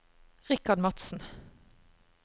Richard Madsen